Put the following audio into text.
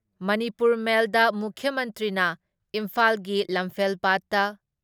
ꯃꯅꯤꯄꯨꯔ ꯃꯦꯜꯗ ꯃꯨꯈ꯭ꯌ ꯃꯟꯇ꯭ꯔꯤꯅ ꯏꯟꯐꯥꯜꯒꯤ ꯂꯝꯐꯦꯜꯄꯥꯠꯇ